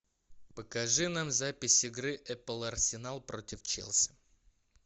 покажи нам запись игры апл арсенал против челси